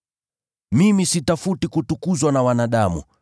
“Mimi sitafuti kutukuzwa na wanadamu.